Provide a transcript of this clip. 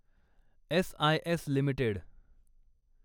SIS limited